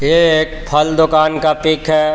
ये एक फल दुकान का पिक है.